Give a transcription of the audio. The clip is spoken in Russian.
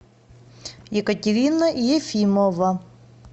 екатерина ефимова